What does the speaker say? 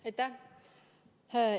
Aitäh!